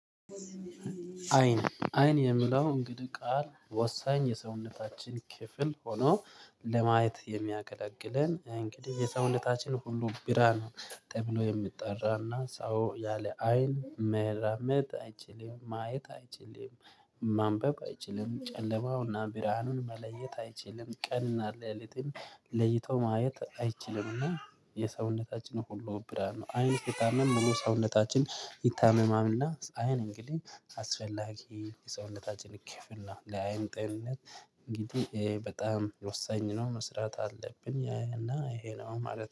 አይን አይን የሚለው እንግዲህ ቃል ወሳኝ የሰውነታችን ክፍል ሆኖ ለማየት የሚያገለግለን እንግዲህ የሰውነታችን ሁሉ ብርሃን ነው ተብሎ የሚጠራና ሰው ያለ አይን መራመድ አይችልም ማየት አይችልም። ማንበብ አይችልም ጨለማውና ብርሃኑን መለየት አይችልም ቀንና ሌሊትን ለይቶ ማየት አይችልምና የሰውነታችን ሁሉ ብርሃን ነው አይን ስትታመም ምኑ ሰውነታችን ይታመማልና? አይን እንግዲህ አስፈላጊ የሰውነታችን ክፍል ነው ለአይን ጤንነት እንግዲህ በጣም ወሳኝ ነው መስራት አለብን። ይሄ ነው ማለት